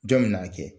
Jɔn bɛ n'a kɛ